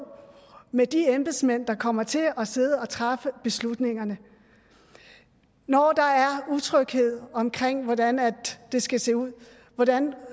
med de embedsmænd der kommer til at sidde og træffe beslutningerne når der er utryghed omkring hvordan det skal se ud hvordan